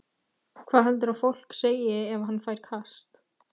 Hvað heldurðu að fólk segi ef hann fær kast?